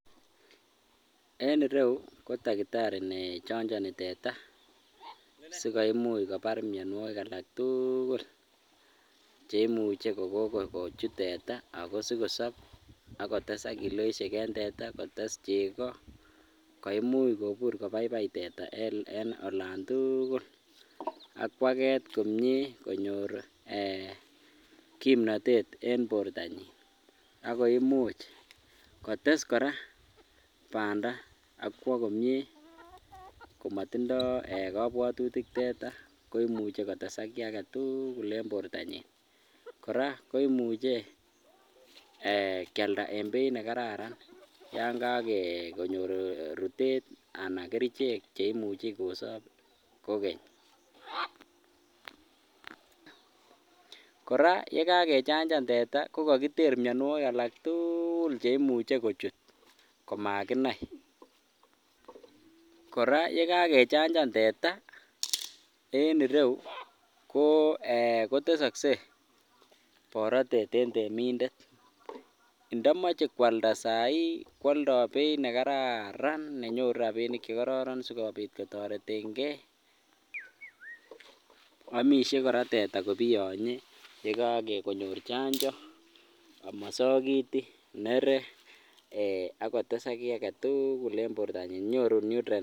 en ireyuu ko takitari nee chonjoni teeta sigoimuch kobaar myonwokik alaak tuuugul cheimuche kogogochut teeta ago sigosob agotesak kiloisheek en teeta ago tess chego koimuch kobuur kobaibai teeta en olon tugul ak kwageet komyee konyoor um kimnoteet en bortonyin ago imuuch kotes koraa banda ak kwoo komyee komotindoo um eeh kobwotutik teeta komuche kotesaak kii agetuugul en bortonyin kora koimuche kyalda en beeit negararan yanga konyoor ruteet anan kerichek cheimuche kosoob kogeny, koraa ye gagechanjan teeta kogagiteer myonwogik alaak tuugul cheimuche kochuut komaginai, koraa ye gagechanjan teeta koo [um} eeh kotesoskei borotet en temindet ndomoche kwalda saa hii kwoldoo beit negararan nenyoruu rabiinik chegororon sigomuch kororeten gee omisyee koraa teeta kobiyonyee ye kagonyoor chanjo ama sogiti neree ago tesak kii agetuugul en bortonyin nyoruu nutrient